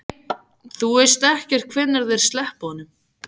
Þú veist ekkert hvenær þeir sleppa honum?